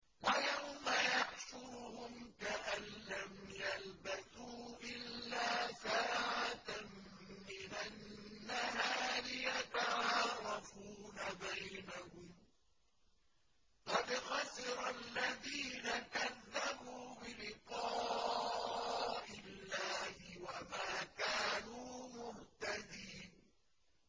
وَيَوْمَ يَحْشُرُهُمْ كَأَن لَّمْ يَلْبَثُوا إِلَّا سَاعَةً مِّنَ النَّهَارِ يَتَعَارَفُونَ بَيْنَهُمْ ۚ قَدْ خَسِرَ الَّذِينَ كَذَّبُوا بِلِقَاءِ اللَّهِ وَمَا كَانُوا مُهْتَدِينَ